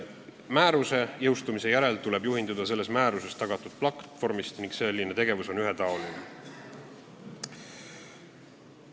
Määruse jõustumise järel tuleb juhinduda selle määrusega tagatud platvormist ning kõnealune tegevus on edaspidi ühetaoline.